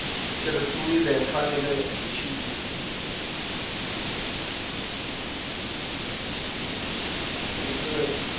tirhisiwile hi mfanelo hi xiyimo